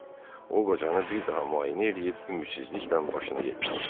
O qocanı bir daha müayinə eləyib ümidsizliklə başını yellədi.